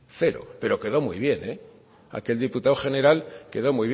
cero pero quedó muy bien aquel diputado general quedó